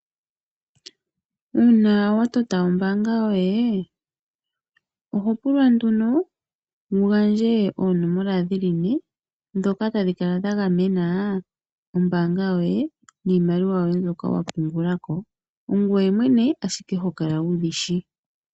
Uuna watota ombaanga yoye ohopulwa nduno wugandje oonomola ne dhoka tadhi kala dha gamena ombaanga yoye niimaliwa yoye mbyoka wapungula ko. Ongoye mwene ashike hokala wudhishi.